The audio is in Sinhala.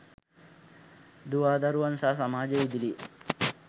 දුවාදරුවන් සහ සමාජය ඉදිරියේ